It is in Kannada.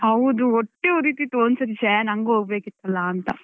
ಹೌದು, ಹೊಟ್ಟೆ ಉರಿತಿತ್ತು. ಒಂದು ಸತ್ತಿ ಶ್ಯೇ ನಂಗೂ ಹೋಗ್ಬೇಕಿತ್ತಲ್ಲಾ ಅಂತ.